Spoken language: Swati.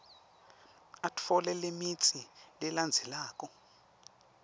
atfole lemitsi lelandzelako